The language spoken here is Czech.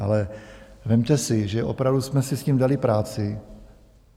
Ale vezměte si, že opravdu jsme si s tím dali práci.